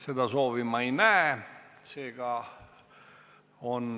Seda soovi ma ei näe.